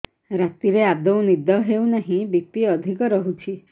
ରାତିରେ ଆଦୌ ନିଦ ହେଉ ନାହିଁ ବି.ପି ଅଧିକ ରହୁଛି